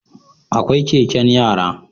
Akwai Keken yara